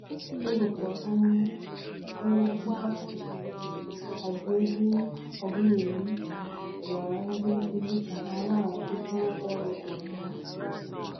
Ọ bụkwa onye onye isi ASUU, Abiodun Ogunyemi, gwara ndị nkuzi ka ha laghachikwuo ọrụ ozugbo.